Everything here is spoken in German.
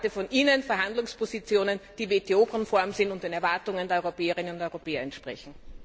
Ich erwarte von Ihnen Verhandlungspositionen, die WTO konform sind und den Erwartungen der Europäerinnen und Europäer entsprechen.